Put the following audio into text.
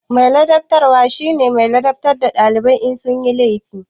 Mai ladabtarwa shi ke ladabtar da dalibai in sun yi laifi.